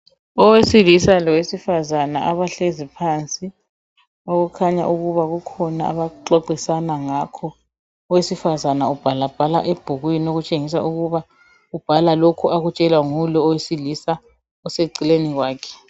Owesilisa lowesifazana abahlezi phansi okukhanya ukuba kukhona abaxoxisana ngakho . Owesifazana ubhala bhala ebhukwini okutshengisa ukuba ubhala lokhu akutshelwa ngulo owesilisa oseceleni kwakhe .